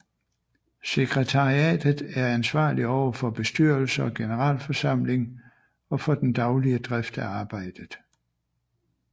Sekretariatet er ansvarlig over for bestyrelse og generalforsamling og for den daglige drift af arbejdet